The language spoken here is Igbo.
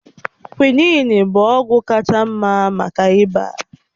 Kwị́nị́n inin bụ ọgwụ kacha mma maka ịba